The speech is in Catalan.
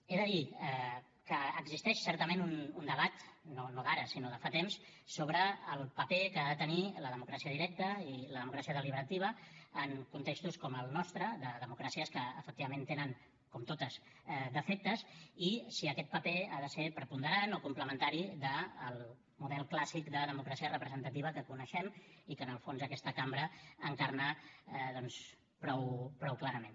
he de dir que existeix certament un debat no d’ara sinó de fa temps sobre el paper que ha de tenir la democràcia directa i la democràcia deliberativa en contextos com el nostre de democràcies que efectivament tenen com totes defectes i si aquest paper ha de ser preponderant o complementari del model clàssic de democràcia representativa que coneixem i que en el fons aquesta cambra encarna doncs prou clarament